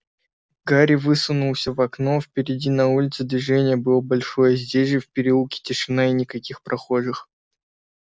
гарри высунулся в окно впереди на улице движение было большое здесь же в переулке тишина и никаких прохожих